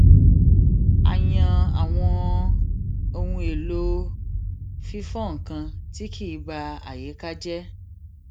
a yan àwọn ohun èlò fífọ nnkan tí kì í ba àyíká jé